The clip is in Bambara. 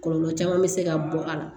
Kɔlɔlɔ caman bɛ se ka bɔ a la